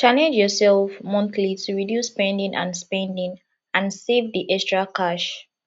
challenge yourself monthly to reduce spending and spending and save the extra cash